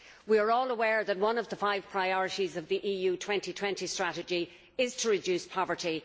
We are all aware that one of the five priorities of the EU 2020 strategy is to reduce poverty.